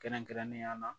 Kɛrɛnkɛrɛnnenya la